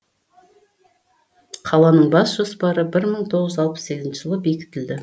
қаланың бас жоспары бір мың тоғыз жүз алпыс сегізінші жылы бекітілді